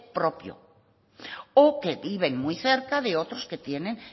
propio o que viven muy cerca de otros que tienen